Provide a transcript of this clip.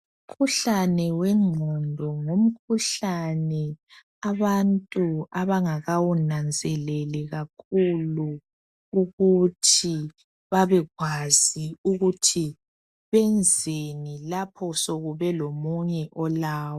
Umkhuhlane wengqondo ngumkhuhlane abantu abangakawunanzeleli kakhulu ukuthi babekwazi ukuthi benzeni lapho sokube lomunye olawo